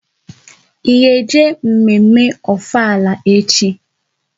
Ị ga-eje mme mme Ofala echi?